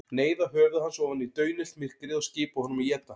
Neyða höfuð hans ofan í daunillt myrkrið og skipa honum að éta.